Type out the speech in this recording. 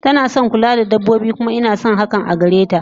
Tanason kula da dabbobi kuma inason hakan agareta